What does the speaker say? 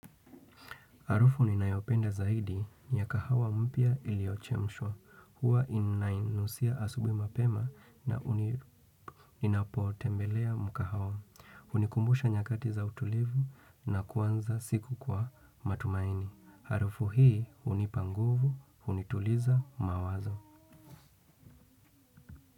Harufu ni ninayopenda zaidi ni ya kahawa mpya iliochemshwa. Huwa inainusia asubuhi mapema na ninapotembelea mkahawa. Hunikumbusha nyakati za utulivu na kuanza siku kwa matumaini. Harufu hii hunipa nguvu, hunituliza mawazo.